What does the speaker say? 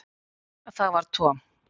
Það var Tom.